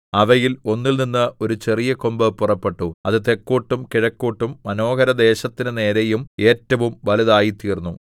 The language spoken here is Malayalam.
അവയിൽ ഒന്നിൽനിന്ന് ഒരു ചെറിയ കൊമ്പ് പുറപ്പെട്ടു അത് തെക്കോട്ടും കിഴക്കോട്ടും മനോഹരദേശത്തിന് നേരെയും ഏറ്റവും വലുതായിത്തീർന്നു